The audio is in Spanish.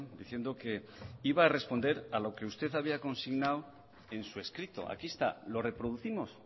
diciendo que iba a responder a lo que usted había consignado en su escrito aquí está lo reproducimos